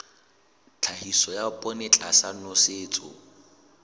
tlhahiso ya poone tlasa nosetso